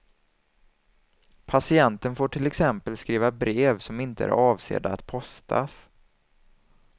Patienten får till exempel skriva brev som inte är avsedda att postas.